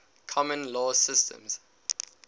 common law systems